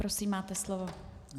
Prosím, máte slovo.